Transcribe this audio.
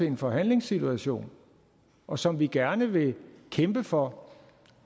en forhandlingssituation og som vi gerne vil kæmpe for